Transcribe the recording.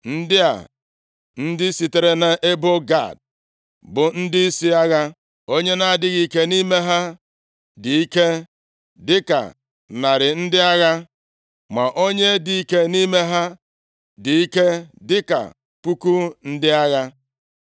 Ndị a, ndị sitere nʼebo Gad bụ ndịisi agha. Onye na-adịghị ike nʼime ha dị ike dịka narị ndị agha, ma onye dị ike nʼime ha dị ike dịka puku ndị agha.